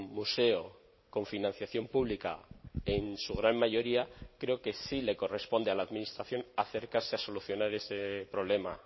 museo con financiación pública en su gran mayoría creo que sí le corresponde a la administración acercarse a solucionar ese problema